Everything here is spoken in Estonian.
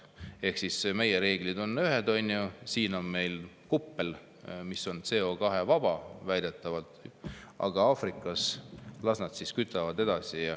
Ehk siis meie reeglid on ühed, siin on meil kuppel, mis on CO2-vaba väidetavalt, aga Aafrikas las nad kütavad edasi.